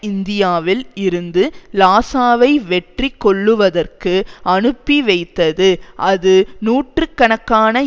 இந்தியாவில் இருந்து லாசாவை வெற்றி கொள்ளுவதற்கு அனுப்பிவைத்தது அது நூற்று கணக்கான